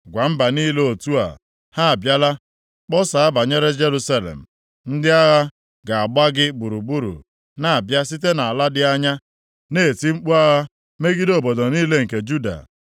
“Gwa mba niile otu a, ha abịala, kpọsaa banyere Jerusalem: ‘Ndị agha ga-agba gị gburugburu na-abịa site nʼala dị anya, na-eti mkpu agha megide obodo niile nke Juda.